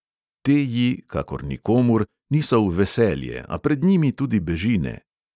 Te ji, kakor nikomur, niso v veselje, a pred njimi tudi beži ne.